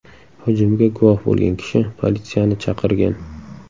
Hujumga guvoh bo‘lgan kishi politsiyani chaqirgan.